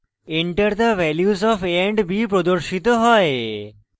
enter the values of a and b প্রদর্শিত হয়